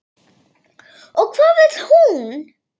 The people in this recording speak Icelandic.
Og hvað vill hún?